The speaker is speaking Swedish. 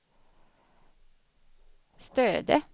Stöde